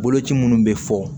Boloci minnu bɛ fɔ